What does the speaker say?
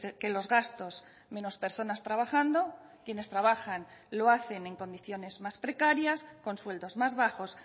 que los gastos menos personas trabajando quienes trabajan lo hacen en condiciones más precarias con sueldos más bajos